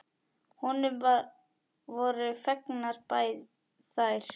Honum voru fengnar þær.